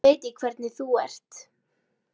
Nú veit ég hvernig þú ert!